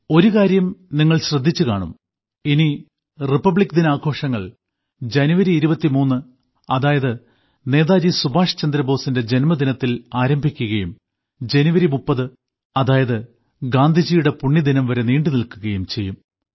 ഒരു കാര്യം നിങ്ങൾ ശ്രദ്ധിച്ചുകാണും ഇനി റിപ്പബ്ലിക് ദിനാഘോഷങ്ങൾ ജനുവരി 23 അതായത് നേതാജി സുഭാഷ് ചന്ദ്രബോസിന്റെ ജന്മദിനത്തിൽ ആരംഭിക്കുകയും 30 ജനുവരി അതായത് ഗാന്ധിജിയുടെ പുണ്യദിനം വരെ നീണ്ടു നിൽക്കുകയും ചെയ്യും